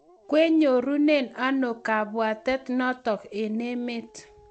kwenyorune anokabwatet notok eng emet